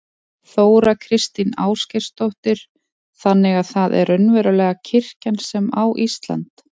Þóra Kristín Ásgeirsdóttir: Þannig að það er raunverulega kirkjan sem á Ísland?